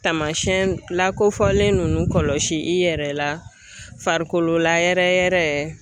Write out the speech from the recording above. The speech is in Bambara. Taamasiyɛn lakofɔlen ninnu kɔlɔsi i yɛrɛ la farikolo layɛrɛ yɛrɛ.